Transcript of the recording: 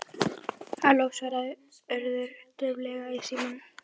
Halló- svaraði Urður dauflega í símann.